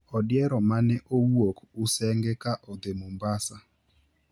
Odiero mane owuok Usenge ka odhi Mombasa